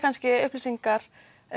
upplýsingar